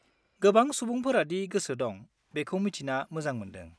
गोबां सुबुंफोरा दि गोसो दं बेखौ मिथिना मोजां मोन्दों।